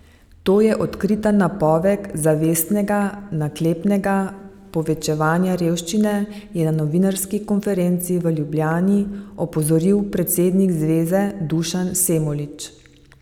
To je odkrita napoved zavestnega, naklepnega povečevanja revščine, je na novinarski konferenci v Ljubljani opozoril predsednik zveze Dušan Semolič.